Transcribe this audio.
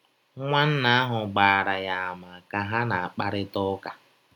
Nwanna ahụ gbaara ya àmà ka ha na - akparịta ụka.